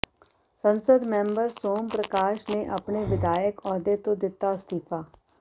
ਸੰਸਦ ਮੈਂਬਰ ਸੋਮ ਪ੍ਰਕਾਸ਼ ਨੇ ਆਪਣੇ ਵਿਧਾਇਕ ਅਹੁਦੇ ਤੋਂ ਦਿੱਤਾ ਅਸਤੀਫਾ